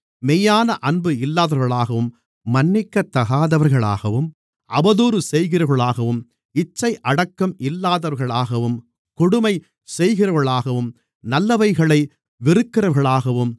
மெய்யான அன்பு இல்லாதவர்களாகவும் மன்னிக்காதவர்களாகவும் அவதூறு செய்கிறவர்களாகவும் இச்சையடக்கம் இல்லாதவர்களாகவும் கொடுமை செய்கிறவர்களாகவும் நல்லவைகளை வெறுக்கிறவர்களாகவும்